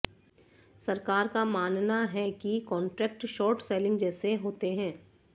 सरकार का मानना है कि ये कॉन्ट्रैक्ट शॉर्ट सेलिंग जैसे होते हैं